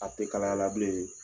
A tɛ kalaya la.